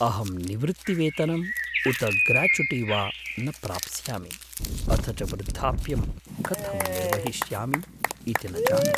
अहं निवृत्तिवेतनम् उत ग्राचुटि वा न प्राप्स्यामि, अथ च वृद्धाप्यं कथं निर्वहिष्यामि इति न जाने।